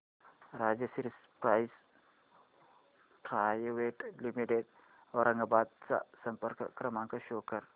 Rajshri pipes private limited Aurangabad चा संपर्क क्रमांक शो कर